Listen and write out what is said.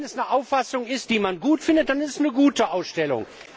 Und wenn es eine Auffassung ist, die man gut findet, dann ist es eine gute Ausstellung.